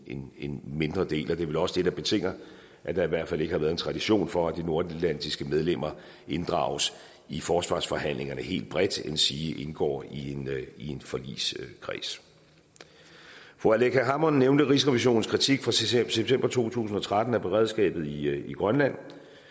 en en mindre del og det er vel også det der betinger at der i hvert fald ikke har været tradition for at de nordatlantiske medlemmer inddrages i forsvarsforhandlingerne helt bredt endsige indgår i en forligskreds fru aleqa hammond nævnte rigsrevisionens kritik fra september to tusind og tretten af beredskabet i grønland